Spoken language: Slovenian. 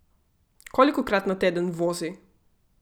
Kolikokrat na teden vozi?